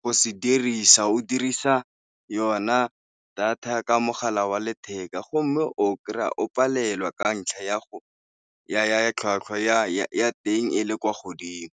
go se dirisa, o dirisa yona data ka mogala wa letheka go mme o kry-a o palelwa ka ntlha ya tlhwatlhwa ya teng e le kwa godimo.